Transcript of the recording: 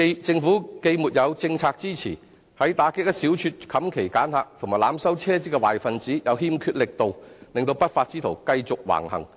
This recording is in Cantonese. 政府既沒有政策支持，在打擊一小撮"冚旗揀客"及濫收車資的壞分子方面又欠缺力度，令不法之徒繼續橫行。